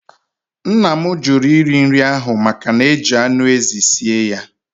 Nna m jụrụ iri nri ahụ maka na-eji anụ ezi sie ya.